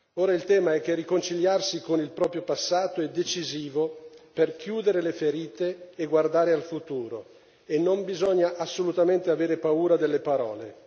Ora il tema è che riconciliarsi con il proprio passato è decisivo per chiudere le ferite e guardare al futuro e non bisogna assolutamente avere paura delle parole.